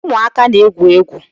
Ụmụaka na-egwu egwu